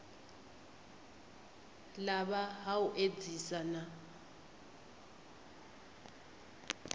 lafha ha u edzisa na